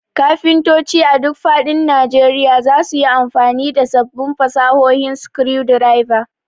Kafintoci a duk faɗin Najeriya za su yi amfani da sabbin fasahohin screwdriver.